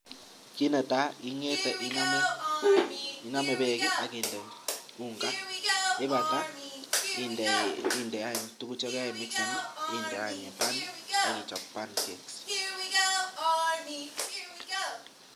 Kit netai, ingete inome beek ak inde unga ye ibata inde any tuguk che karimigisen inde any in pan ak ichob pancakes.